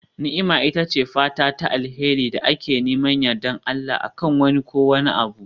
Ni'ima ita ce fata ta alheri da ke neman yardar Allah, a kan wani ko wani abu.